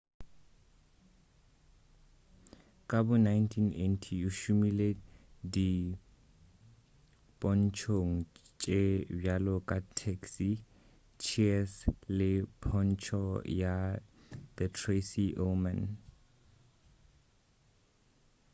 ka bo 1980 o šomile dipontšhong tše bjalo ka taxi cheers le pontšho ya the tracy ullman